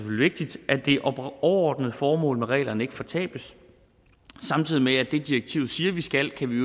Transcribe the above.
vigtigt at det overordnede formål med reglerne ikke fortabes samtidig med at det direktivet siger vi skal kan vi